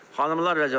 Xanımlar və cənablar.